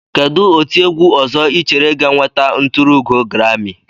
Kedụ otiegwu ọzọ Ị chere ga-enweta nturuugo grami?